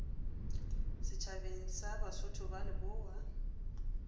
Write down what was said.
setšhabeng sa basotho ba lebowa